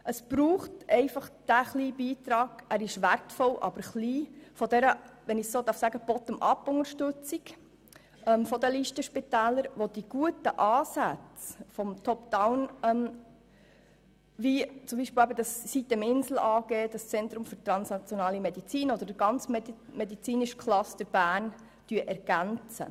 Es braucht diesen kleinen, aber wertvollen Beitrag dieser «bottom up»-Unterstützung der Listenspitäler, der die guten Ansätze aus dem «top down»-Bereich, wie etwa sitem-insel beziehungsweise den gesamten medizinischen Cluster Berns, ergänzt.